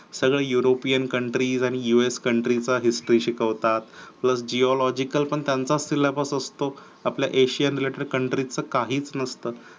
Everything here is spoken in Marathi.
सगळं european countries आणि US country चा history शिकवतात. उलट zeological पण त्यांचाच syllabus असतो. आपल्या asian related countries च काहीच नसत.